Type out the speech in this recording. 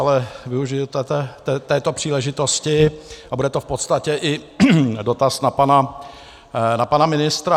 Ale využiji této příležitosti a bude to v podstatě i dotaz na pana ministra.